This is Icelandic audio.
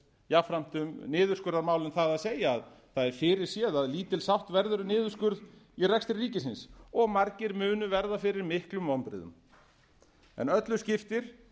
jafnframt um niðurskurðarmálin það að segja að það er fyrirséð að lítil sátt verður um niðurskurð í rekstri ríkisins margir munu verða fyrir miklum vonbrigðum en öllu skiptir